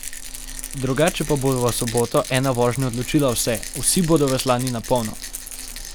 Drugače pa bo v soboto ena vožnja odločila vse, vsi bodo veslali na polno.